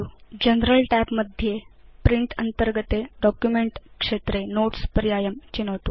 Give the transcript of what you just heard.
general tab मध्ये print अन्तर्गते document क्षेत्रे नोट्स् पर्यायं चिनोतु